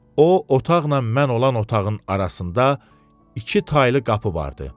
O otaqla mən olan otağın arasında iki taylı qapı vardı.